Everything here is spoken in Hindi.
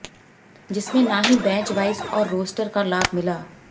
जिसमें ना ही बैच वाइज और रोस्टर का लाभ मिला